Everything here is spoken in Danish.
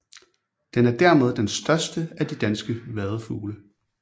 Den er dermed den største af de danske vadefugle